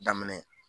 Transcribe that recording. Daminɛ